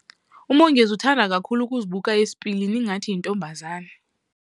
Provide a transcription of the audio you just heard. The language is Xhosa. UMongezi uthanda kakhulu ukuzibuka esipilini ngathi yintombazana.